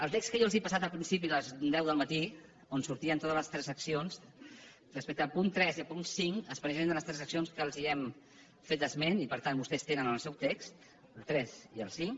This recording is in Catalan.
al text que jo els he passat al principi a les deu del matí on sortien totes les transaccions respecte al punt tres i al punt cinc es presenten les transaccions de què els hem fet esment i per tant vostès tenen en el seu text el tres i el cinc